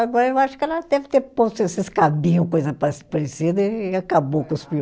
Agora eu acho que ela deve ter posto esses cabinho, coisa pa parecida, e acabou com os piolhos.